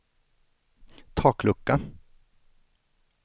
taklucka